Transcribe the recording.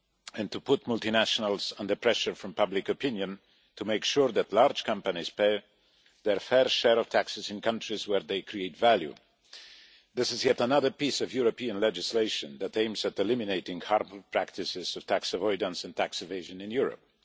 and to put multinationals under pressure from public opinion, to make sure that large companies pay their fair share of taxes in countries where they create value. This is yet another piece of European legislation aimed at eliminating the harmful practices of tax avoidance and tax evasion in Europe.